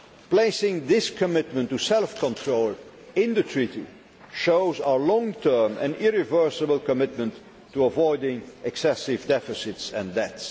Placing this commitment to self control in the treaty shows our long term and irreversible commitment to avoiding excessive deficits and